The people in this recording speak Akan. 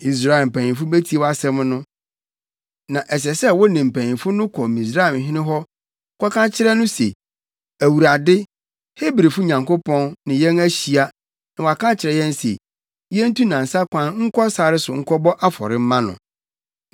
“Israelfo mpanyimfo betie wʼasɛm no. Na ɛsɛ sɛ wo ne mpanyimfo no kɔ Misraimhene hɔ kɔka kyerɛ no se, ‘ Awurade, Hebrifo Nyankopɔn, ne yɛn ahyia na waka akyerɛ yɛn se, yentu nnansa kwan nkɔ sare so nkɔbɔ afɔre mma no.’